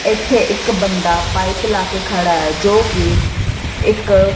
ਇੱਥੇ ਇੱਕ ਬੰਦਾ ਪਾਈਪ ਲਾ ਕੇ ਖੜਾ ਹੈ ਜੋ ਕੀ ਇੱਕ--